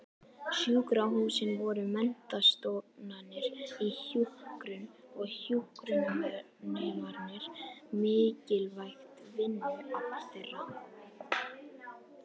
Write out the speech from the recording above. Sjúkrahúsin voru menntastofnanir í hjúkrun og hjúkrunarnemarnir mikilvægt vinnuafl þeirra.